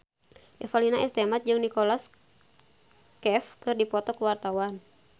Revalina S. Temat jeung Nicholas Cafe keur dipoto ku wartawan